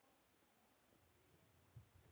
OG SVO KOM SÓLIN UPP.